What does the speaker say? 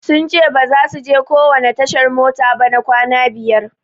Sun ce basu je kowanne tashar mota ba na kwana biyar.